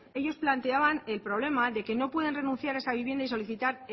ellos planteaban el problema de que no pueden renunciar a esa vivienda y solicitar